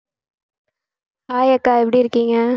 hi அக்கா எப்படி இருக்கீங்க